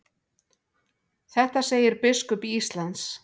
Þetta segir biskup Íslands.